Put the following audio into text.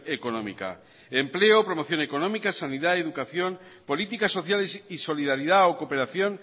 económica empleo promoción económica sanidad educación políticas sociales y solidaridad o cooperación